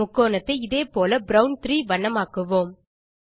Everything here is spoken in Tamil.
முக்கோணத்தை இதே போல ப்ரவுன் 3 வண்ணமாக்குவோம்